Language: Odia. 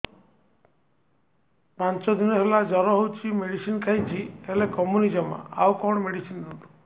ପାଞ୍ଚ ଦିନ ହେଲା ଜର ହଉଛି ମେଡିସିନ ଖାଇଛି ହେଲେ କମୁନି ଜମା ଆଉ କଣ ମେଡ଼ିସିନ ଦିଅନ୍ତୁ